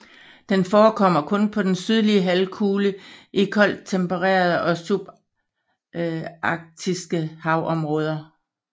Den forekommer kun på den sydlige halvkugle i koldt tempererede og subantarktiske havområder